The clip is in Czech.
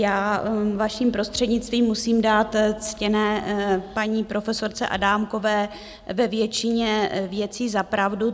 Já, vaším prostřednictvím, musím dát ctěné paní profesorce Adámkové ve většině věcí zapravdu.